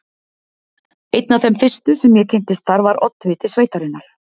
Einn af þeim fyrstu, sem ég kynntist þar, var oddviti sveitarinnar